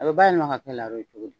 A bɛ bayɛlɛma ka kɛ laro ye cogo di